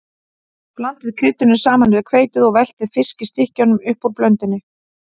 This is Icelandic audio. Blandið kryddinu saman við hveitið og veltið fiskstykkjunum upp úr blöndunni.